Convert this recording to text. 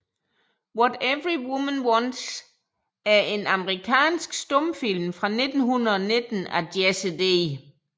What Every Woman Wants er en amerikansk stumfilm fra 1919 af Jesse D